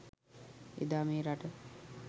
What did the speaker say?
එදා මේ රට